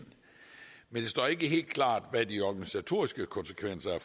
men det står ikke helt klart hvad de organisatoriske konsekvenser af